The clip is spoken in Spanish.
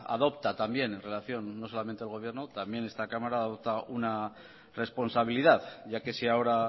adopta también no solamente el gobierno también esta cámara una responsabilidad ya que si ahora